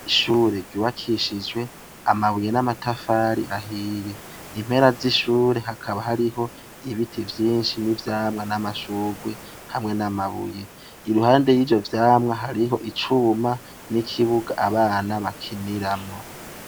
Ishuri ry'umwaka w'umunani baheroka kurisiga irango irishasha ku bryango no ku madirisha, ariko abanyeshuri baho baramenye ibiyo vyayo madirisha gushikaa n'ubu mwigisha aracarondeza uwabimenye, ariko abanyeshuri baranse kumuvuga.